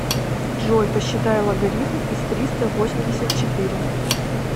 джой посчитай логарифм из триста восемьдесят четыре